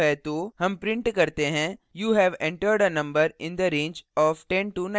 हम print करते हैं you have entered a number in the range of 1019